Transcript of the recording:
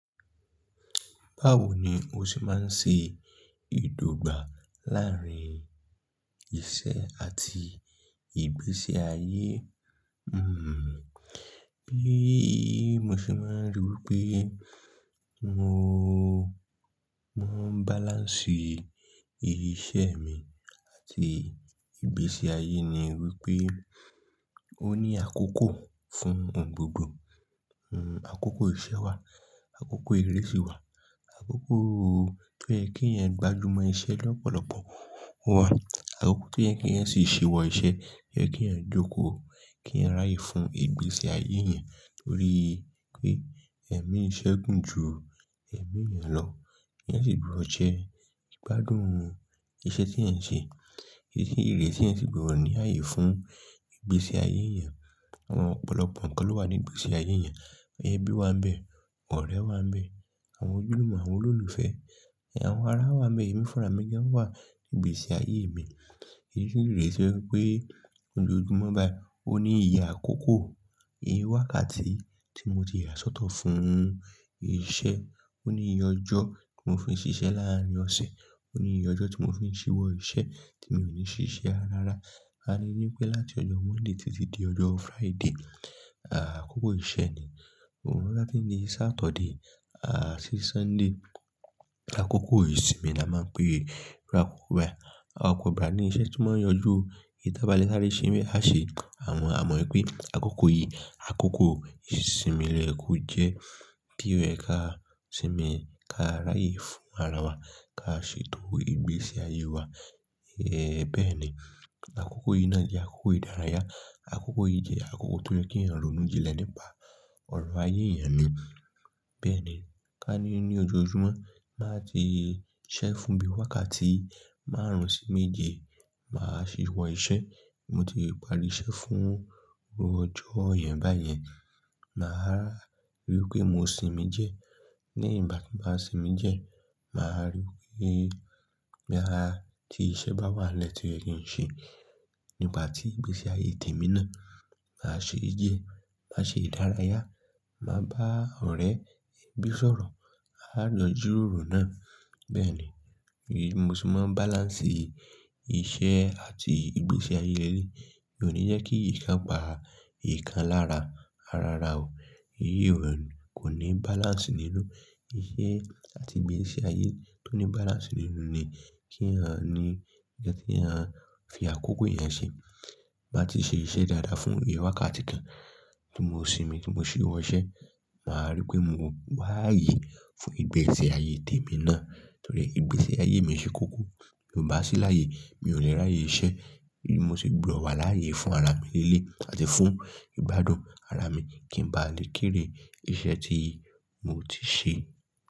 Báwo ni o ṣe máa ń ṣe ìdògbà láàárín iṣẹ́ àti ìgbésí ayé? Hmmm. Bí mo ṣe máa ń ríi pé mo, mo ń balance iṣẹ́ mi àti ìgbésí ayé ni wípé ó ní àkókò fún ohun gbogbo. Àkókò iṣẹ́ wa, àkókò ìrẹsì wa, àkókò tó ń yẹ kí ẹ gbájúmọ́ iṣẹ́ lọ́pọ̀lọpọ̀ wà, àkókò tó ń yẹ kí ẹ sì ṣíwọ́ iṣẹ́, yẹ kí ẹ jókòó, kí ẹ ráyè fún ìgbésí ayé yẹn. Nítorí pé ẹ̀mí iṣẹ́ gùn ju ẹ̀mí yẹn lọ. Èyán sì gbọdọ jẹ ìgbádùn iṣẹ́ tí èèyàn ń ṣe. Èyí sì léṣe pé ó ní àyè fún ìgbésí ayé yẹn. Àwọn ọ̀pọ̀lọpọ̀ ǹkan ló wà ní ìgbésí ayé yẹn. Ẹbí wa ń bẹ, ọ̀rẹ́ wa ń bẹ, àwọn ojúlùmọ̀, àwọn olólùfẹ́, àwọn ara wa ń bẹ, ẹmí fúnra mi gan wà ní ìgbésí ayé mi. Èyí sì léṣe wípé lójoojúmọ́ báyìí, ó ní ìyè àkókò. Iye wákàtí tí mo ti yà sọ́tọ̀ fún iṣẹ́, ó ní iye ọjọ́ tí mo fi ń ṣiṣẹ́ láàárín ọ̀sẹ̀, ó ní iye ọjọ́ tí mo fi ń ṣíwọ́ iṣẹ́ tí mi ò ní ṣiṣẹ́ ara ara. A lè ní pé láti ọjọ́ Monday títí di ọjọ́ Friday, àkókò iṣẹ́ ni. Òun láti ní Saturday, à sí Sunday, àkókò ìsinmi la máa ń pè é. Bí i àkókò ìbára ẹni iṣẹ́ tí máa ń yanjú ìyi tàbálé sàre se ń bẹ aṣe, à mọ̀ pé àkókò yìí, àkókò ìsinmi lóyẹ kò jẹ́ bí ẹ ká sinmi, ká ráyè fún ara wa, ká ṣètò ìgbésí ayé wa. Ẹ̀ bẹ́ẹ̀ ni. Àkókò yìí náà jẹ́ àkókò ìdárayá. Àkókò yìí jẹ́ àkókò tó ń yẹ kí èèyàn ronú jilẹ̀ nípa ọ̀rọ̀ ayé yan ni. Bẹ́ẹ̀ ni. Ká ní ní ojoojúmọ́, máa ti ṣẹ́ fún bí i wákàtí márùn-ún sí méje, màá ṣíwọ́ iṣẹ́. Mo ti pari iṣẹ́ fún ọjọ́ yẹn báyẹn. Màá ríi pé mo sinmi diẹ. Ní ìgbà tí ń bá sinmi diẹ, màá ríi pé bí àti iṣẹ́ bá wà lẹ́tí o yẹ̀ kí n ṣe. Nígbà tí ìgbésí ayé tèmi náà, màá ṣe diẹ, màá ṣe ìdárayá, màá bá ọ̀rẹ́ ẹbí sọ̀rọ̀, à ń jọ jíròrò náà. Bẹ́ẹ̀ ni. Bí mo ṣe máa ń balance iṣẹ́ àti ìgbésí ayé lẹ́yè. Mi ò ní jẹ́ kí ìkan pa ìkan lára ara ara o. Èyí ò hẹnu. Kò ní balance nínú. Iṣẹ́ àti ìgbésí ayé tó ní balance nínú ni kí èèyàn ní ń kàn tí èèyàn fi àkókò èèyàn ṣe. Bá ti ṣe iṣẹ́ dáadáa fún iye wákàtí kan tí mo sinmi, tí mo ṣíwọ́ iṣẹ́, màá ríi pé mo wá ayé fún ìgbésí ayé tèmi náà. Nítorí ìgbésí ayé mi ṣe kókó. Bí mo bá sí láàyè, mi ò le ráyè ṣe. Mo sì gbudọ wà láàyè fún ara mi lele àti fún ìgbádùn ara mi kí ń ba lè kéré iṣẹ́ tí mo ti ṣe.